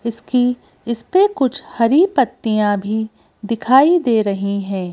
इसकी इसपे कुछ हरी पत्तियां भी दिखाई दे रही हैं।